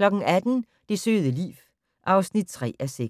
18:00: Det søde liv (3:6)